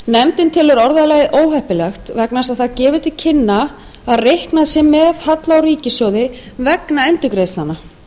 nefndin telur orðalagið óheppilegt vegna þess að það gefur til kynna að reiknað sé með halla á ríkissjóði vegna endurgreiðslnanna